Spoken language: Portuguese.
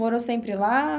Morou sempre lá?